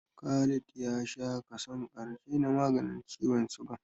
Khalid ya sha kason ƙarshe na maganin ciwon sugan